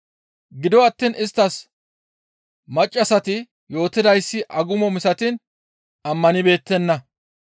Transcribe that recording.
Gido attiin isttas maccassati yootidayssi agumo misatiin ammanibeettenna.